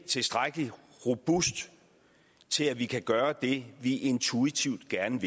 tilstrækkelig robust til at vi kan gøre det vi intuitivt gerne